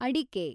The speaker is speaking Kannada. ಅಡಿಕೆ